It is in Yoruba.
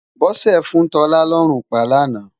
Bose fún Tola lòrún pá láná